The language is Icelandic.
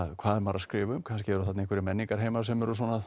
hvað er maður að skrifa um kannski eru þarna einhverjir menningarheimar sem eru